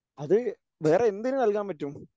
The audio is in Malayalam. അത് വേറെ എന്തിന് നൽകാൻ പറ്റും?